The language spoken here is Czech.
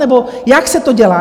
Nebo jak se to dělá?